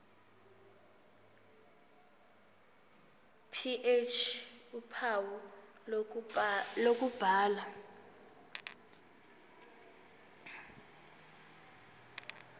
ph uphawu lokubhala